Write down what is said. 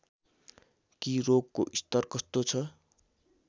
कि रोगको स्तर कस्तो छ